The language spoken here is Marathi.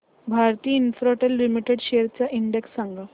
भारती इन्फ्राटेल लिमिटेड शेअर्स चा इंडेक्स सांगा